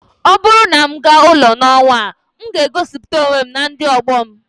ọ bụrụ na m gaa ụlọ n'ọnwa a, m ga-egosiputa onwe m na ndị ọgbọ m